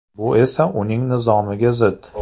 Bu esa uning nizomga zid.